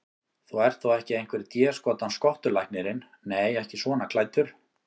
Þú ert þó ekki einhver déskotans skottulæknirinn. nei, ekki svona klæddur.